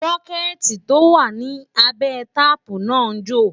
bokiti tó wà nì abé taààpu nà njo